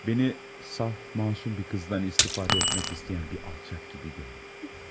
Məni saf, məsum bir qızdan istifadə etmək istəyən bir alçaq kimi görmə.